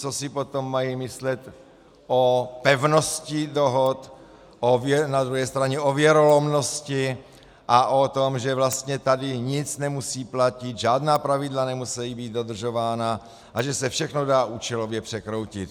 Co si potom mají myslet o pevnosti dohod, na druhé straně o věrolomnosti a o tom, že vlastně tady nic nemusí platit, žádná pravidla nemusejí být dodržována a že se všechno dá účelově překroutit?